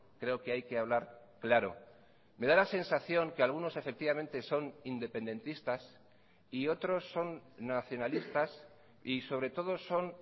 creo que hay que hablar claro me da la sensación que algunos efectivamente son independentistas y otros son nacionalistas y sobre todo son